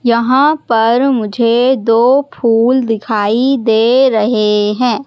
यहां पर मुझे दो फूल दिखाई दे रहे हैं।